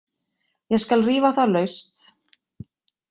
Ég skal rífa það laust!